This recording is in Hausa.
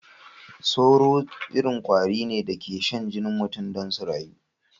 Tsoro irin kwari da ke rayu ta jinin mutane ne.